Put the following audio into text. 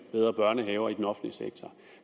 bedre børnehaver i den offentlige sektor